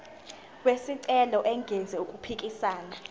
wesicelo engenzi okuphikisana